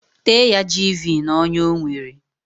Tee ya jiivii n'onya ọ nwere.